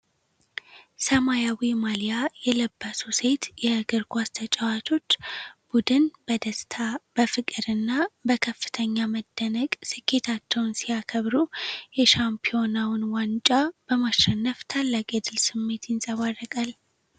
ሰማያዊ ማሊያ የለበሱ ሴት የእግር ኳስ ተጫዋቾች ቡድን በደስታ፣ በፍቅር እና በከፍተኛ መደነቅ ስኬታቸውን ሲያከብሩ፣ የሻምፒዮናውን ዋንጫ በማሸነፍ ታላቅ የድል ስሜት ይንጸባረቃል።